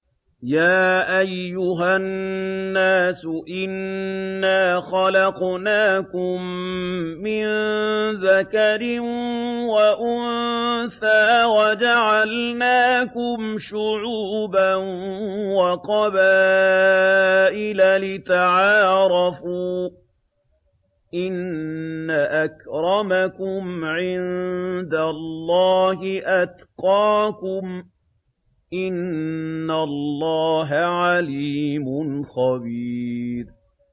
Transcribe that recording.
يَا أَيُّهَا النَّاسُ إِنَّا خَلَقْنَاكُم مِّن ذَكَرٍ وَأُنثَىٰ وَجَعَلْنَاكُمْ شُعُوبًا وَقَبَائِلَ لِتَعَارَفُوا ۚ إِنَّ أَكْرَمَكُمْ عِندَ اللَّهِ أَتْقَاكُمْ ۚ إِنَّ اللَّهَ عَلِيمٌ خَبِيرٌ